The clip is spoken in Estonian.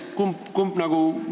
Kumb variant on?